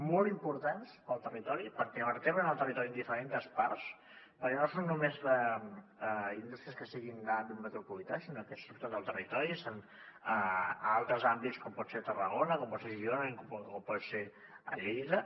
molt importants per al territori perquè vertebren el territori en diferents parts perquè no són només indústries que siguin d’àmbit metropolità sinó que surten del territori són a altres àmbits com pot ser tarragona com pot ser girona o pot ser lleida